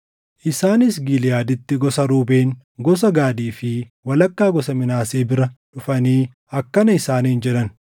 Isaanis Giliʼaaditti gosa Ruubeen, gosa Gaadii fi walakkaa gosa Minaasee bira dhufanii akkana isaaniin jedhan: